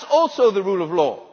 That is also the rule of